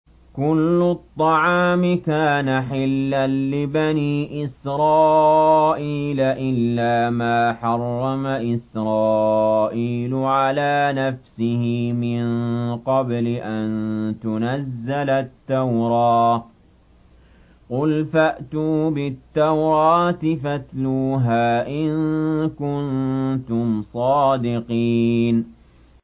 ۞ كُلُّ الطَّعَامِ كَانَ حِلًّا لِّبَنِي إِسْرَائِيلَ إِلَّا مَا حَرَّمَ إِسْرَائِيلُ عَلَىٰ نَفْسِهِ مِن قَبْلِ أَن تُنَزَّلَ التَّوْرَاةُ ۗ قُلْ فَأْتُوا بِالتَّوْرَاةِ فَاتْلُوهَا إِن كُنتُمْ صَادِقِينَ